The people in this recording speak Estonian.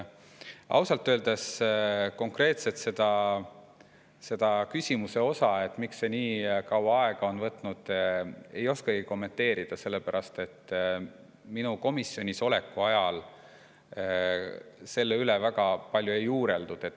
Ausalt öeldes konkreetselt seda küsimust, miks see nii kaua aega on võtnud, ei oska kommenteerida, sellepärast et minu komisjonis oleku ajal selle üle väga palju ei juureldud.